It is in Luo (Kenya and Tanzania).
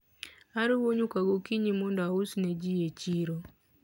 aruwo nyuka gokinyi mondo aus neji e chiro